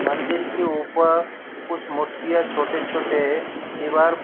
मंदिर के ऊपर कुछ मूर्तियां छोटे छोटे दीवार --